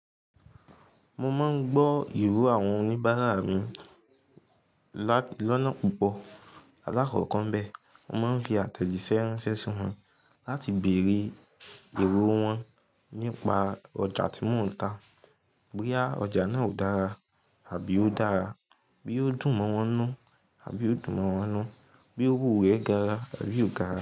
Mo máa ń gbọ́ ìró àwọn oníbàárà mi lọ́nà púpọ̀. Alákọ̀ọ́kọ̀ bẹ́ẹ̀, mo máa ń fi àtẹ̀jíṣẹ́ ránṣẹ́ sí wọn láti bèrè ìró wọn nípa ọjà tí mò ń ta, bóyá ọjà náà ò dára àbí ó dára, bóyá ó dùn mọ́ wọn nú àbí ó dùn mọ́ wọn nú, bóyá òwò rẹ̀ gara àbí ò gara.